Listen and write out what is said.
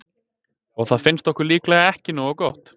Og það finnst okkur líklega ekki nógu gott.